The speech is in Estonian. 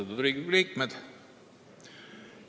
Austatud Riigikogu liikmed!